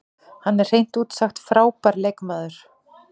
Hann er hreint út sagt frábær leikmaður.